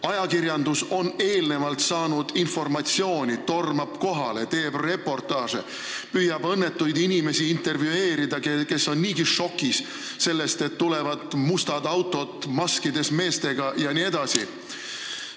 Ajakirjandus on eelnevalt saanud informatsiooni, tormab kohale, teeb reportaaže ja püüab intervjueerida õnnetuid inimesi, kes on niigi šokis sellest, et nende juurde on tulnud mustad autod maskides meestega jne.